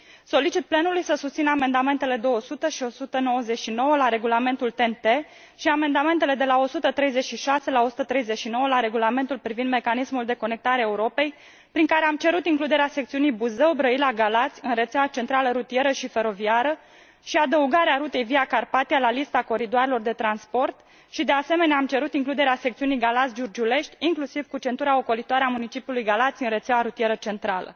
Solicit plenului să susțină amendamentele 200 și 199 la regulamentul TEN T și amendamentele de la 136 la 139 la regulamentul privind mecanismul Conectarea Europei, prin care am cerut includerea secțiunii Buzău Brăila Galați în rețeaua centrală rutieră și feroviară și adăugarea rutei Via Carpathia la lista coridoarelor de transport și, de asemenea, am cerut includerea secțiunii Galați Giurgiulești, inclusiv cu centura ocolitoare a municipiului Galați, în rețeaua rutieră centrală.